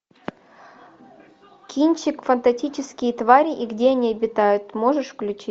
кинчик фантастические твари и где они обитают можешь включить